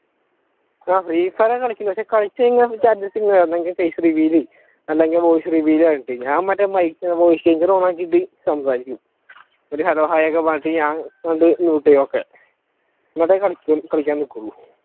ആഹ് free fire ഒക്കെ കാലിക്കളുണ്ട് പക്ഷെ കളിച്ചുകഴിഞ്ഞാൽ ഒന്നെങ്കിൽ face reveal ചെയ്യ് അല്ലെങ്കിൽ voicereveal ആയിട്ട് ഞാൻ മറ്റേ mike voice changer ഓണക്കിയിട്ട് സംസാരിക്കും ഒരു hellohai ഒക്കെ പറഞ്ഞിട്ട് ഞാൻ mute അങ്ങോട്ട് ചെയ്യും okay എന്നിട്ടേ കളിക്കുള്ളു.